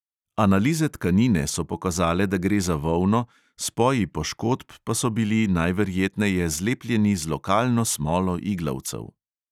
Analize tkanine so pokazale, da gre za volno, spoji poškodb so pa so bili najverjetneje zlepljeni z lokalno smolo iglavcev.